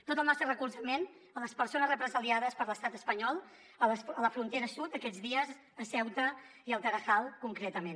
tot el nostre recolzament a les persones represaliades per l’estat espanyol a la fron tera sud aquests dies a ceuta i al tarahal concretament